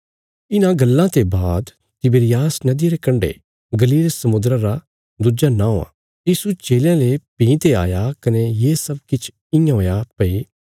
इन्हां गल्लां ते बाद तिबिरियास नदिया रे कण्डे गलील समुद्रा रा दुज्जा नौं आ यीशु चेलयां ले भीं ते आया कने ये सब किछ इयां हुया भई